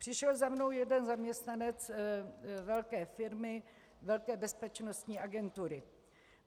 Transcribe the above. Přišel za mnou jeden zaměstnanec velké firmy, velké bezpečnostní agentury.